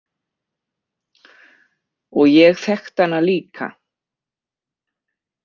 Og ég þekkti hana líka.